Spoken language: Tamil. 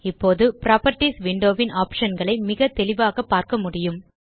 இப்போது புராப்பர்ட்டீஸ் விண்டோ ன் optionகளை மிக தெளிவாக பார்க்க முடியும்